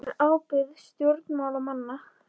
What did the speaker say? Hver er ábyrgð stjórnmálamanna?